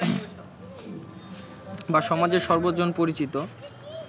বা সমাজের সর্বজন পরিচিত